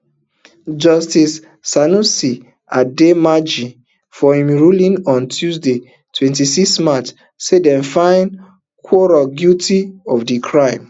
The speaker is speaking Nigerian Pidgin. justice sanusi adomaaji for im ruling on tuesday twenty-six march say dem find quarong guilty of di crime